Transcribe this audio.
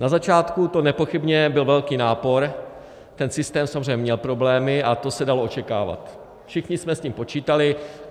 Na začátku to nepochybně byl velký nápor, ten systém samozřejmě měl problémy, a to se dalo očekávat, všichni jsme s tím počítali.